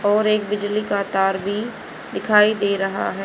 और एक बिजली का तार भी दिखाई दे रहा है।